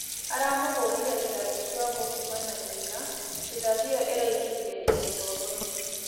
Aramũhũrĩre rĩthathĩ kĩongo kũma na thũtha, rĩthathĩ ĩyo ĩraĩngĩrĩre ngĩnya tomboĩnĩ